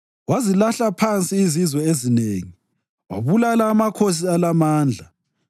Wazilahla phansi izizwe ezinengi wabulala amakhosi alamandla,